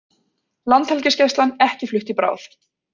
Landhelgisgæslan ekki flutt í bráð